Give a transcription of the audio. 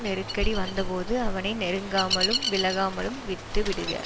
நெருக்கடி வந்த போது அவனை நெருங்காமலும் விலக்காமலும் விட்டு விடுக